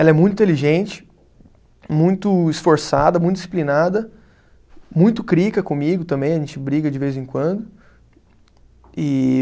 Ela é muito inteligente, muito esforçada, muito disciplinada, muito crica comigo também, a gente briga de vez em quando. E